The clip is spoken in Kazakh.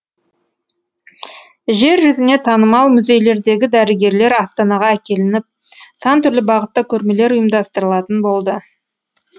жер жүзіне танымал музейлердегі дәрігерлер астанаға әкелініп сан түрлі бағытта көрмелер ұйымдастырылатын болды